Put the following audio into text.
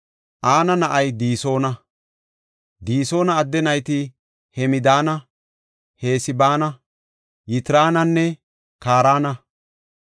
Ana na7ay Disoona. Disoona adde nayti Hemdaana, Esbaana, Yitraananne Kaarana.